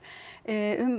um